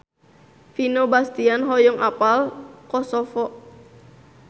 Vino Bastian hoyong apal Kosovo